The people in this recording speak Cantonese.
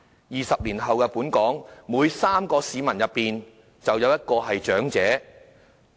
二十年後，香港每3名市民之中，便有1人是長者。